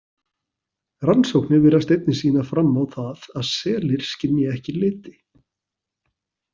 Rannsóknir virðast einnig sýna fram á það að selir skynji ekki liti.